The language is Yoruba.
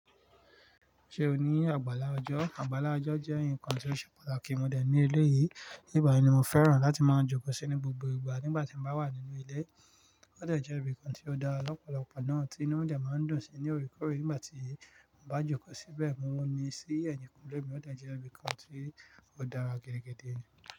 Ṣé o ní àgbàlá ọjọ́? Àgbàlá ọjọ́ jẹ́ nǹkan tí ó ṣe pàtàkì mọ̀ dẹ̀ ní ilé yìí. Nígbà yìí ni mo fẹ́ràn láti máa jókòó síi ní gbogbo ìgbà nígbà tí mo bá wà nínú ilé. Ó dẹ̀ jẹ́ ibìkan tí ó dá lọ́pọ̀lọpọ̀ náà tí inú rẹ̀ máa ń dùn sí ní òorekoore nígbà tí mo bá jókòó síbẹ̀. Mo ní i sí ẹ̀yìnkùnlé mi, ó dẹ̀ jẹ́ ibìkan tí ó dára gidi gidi.